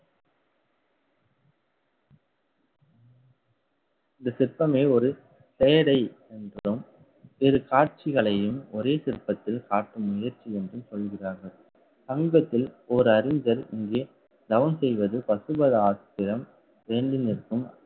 இந்த சிற்பமே ஒரு என்றும் இரு காட்சிகளையும் ஒரே சிற்பத்தில் காட்டும் முயற்சி என்றும் சொல்கிறார்கள். தங்கத்தில் ஒரு அறிஞர் இங்கே தவம் செய்வது பசுபதாஸ்திரம் வேண்டி நிற்கும்